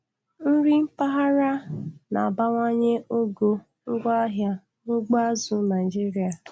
Nri mpaghara na-abawanye ogo ngwaahịa na ugbo azụ̀ Naịjiria.